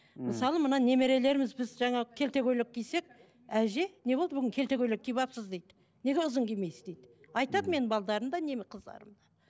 мхм мысалы мына немерелеріміз біз жаңа келте көйлек кисек әже не болды бүгін келте көйлек киіп алыпсыз дейді неге ұзын кимейсіз дейді айтады менің да не қыздарым да